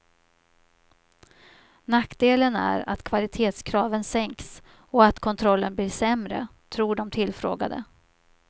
Nackdelen är att kvalitetskraven sänks och att kontrollen blir sämre, tror de tillfrågade.